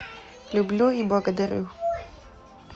люблю и благодарю